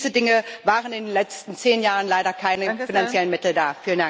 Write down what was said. Für diese Dinge waren in den letzten zehn Jahren leider keine finanziellen Mittel da.